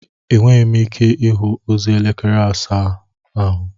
Enweghị m ike ịhụ ozi elekere asaa ahụ